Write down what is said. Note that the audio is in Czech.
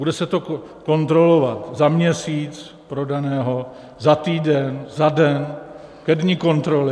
Bude se to kontrolovat za měsíc prodaného, za týden, za den, ke dni kontroly?